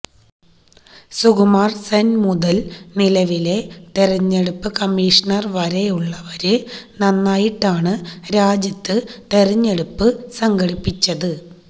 സുകുമാര് സെന് മുതല് നിലവിലെ തെരഞ്ഞെടുപ്പ് കമ്മീഷണര് വരെയുള്ളവര് നന്നായിട്ടാണ് രാജ്യത്ത് തെരഞ്ഞെടുപ്പ് സംഘടിപ്പിച്ചത്